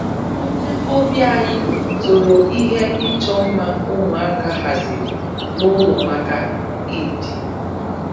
Onye ọbịa anyị toro ihe ịchọ mma ụmụaka haziri n'ụlọ maka Eid